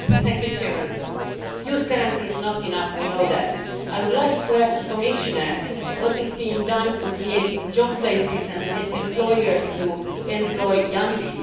Mr President, the Youth Guarantee is not enough, we know that. I would like to ask the Commissioner what is being done to create job places and to get employers to employ young people.